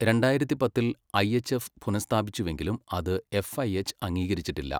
രണ്ടായിരത്തി പത്തിൽ ഐഎച്ച്എഫ് പുനഃസ്ഥാപിച്ചുവെങ്കിലും അത് എഫ്ഐഎച്ച് അംഗീകരിച്ചിട്ടില്ല.